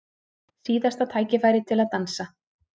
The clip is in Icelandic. Síðasta tækifærið til að dansa